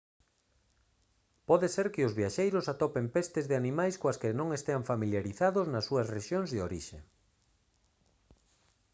pode ser que os viaxeiros atopen pestes de animais coas que non estean familiarizados nas súas rexións de orixe